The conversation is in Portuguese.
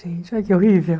Gente, olha que horrível.